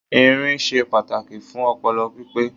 Irin se pàtàkì fún opolo pípé